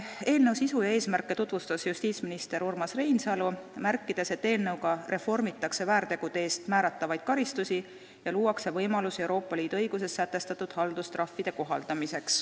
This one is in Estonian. Eelnõu sisu ja eesmärke tutvustas justiitsminister Urmas Reinsalu, märkides, et eelnõuga reformitakse väärtegude eest määratavaid karistusi ja luuakse võimalusi kohaldada Euroopa Liidu õiguses sätestatud haldustrahve.